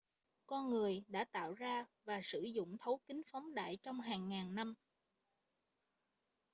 con người đã tạo ra và sử dụng thấu kính phóng đại trong hàng ngàn năm